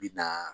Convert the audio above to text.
Bi na